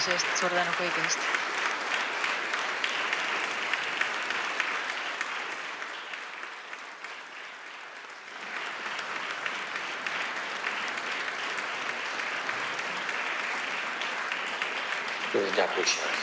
Slava Ukraini!